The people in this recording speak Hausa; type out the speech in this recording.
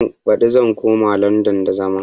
Baɗi zan koma landan da zama